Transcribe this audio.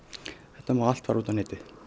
þetta má allt fara út á netið